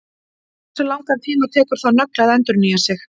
Hversu langan tíma tekur það nögl að endurnýja sig?